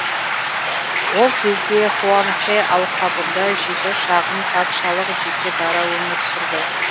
ол кезде хуанхэ алқабында жеті шағын патшалық жеке дара өмір сүрді